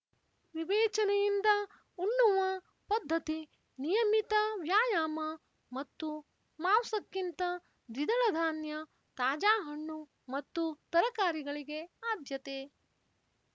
ವಿವೇಚನೆಯಿಂದ ಉಣ್ಣುವ ಪದ್ಧತಿ ನಿಯಮಿತ ವ್ಯಾಯಾಮ ಮತ್ತು ಮಾವ್ಸಕ್ಕಿಂತ ದ್ವಿದಳ ಧಾನ್ಯ ತಾಜಾ ಹಣ್ಣು ಮತ್ತು ತರಕಾರಿಗಳಿಗೆ ಆದ್ಯತೆ